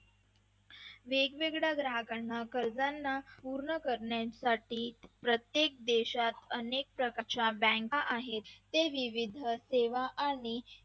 वेगवेगळ्या ग्राहकांना कर्जांना पूर्ण करण्यासाठी प्रत्येक देशात अनेक प्रकारच्या bank आहेत ते विविध सेवा आणि